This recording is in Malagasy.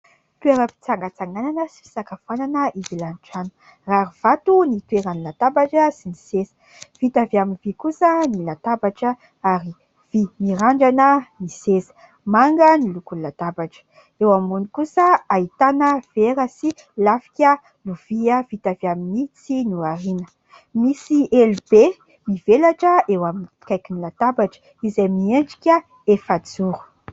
Toeram-pitsangatsanganana sy fisakafoana ivelan'ny trano, rary vato ny toeran'ny latabatra sy ny seza, vita avy amin'ny vy kosa ny latabatra ary vy mirandrana ny seza, manga ny lokon'ny latabatra ; eo ambony kosa ahitana vera sy lafika lovia vita avy amin'ny tsihy norariana, misy elo be mivelatra eo amin'ny akaikin' ny latabatra izay miendrika efajoro.